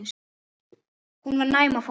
Hún var næm á fólk.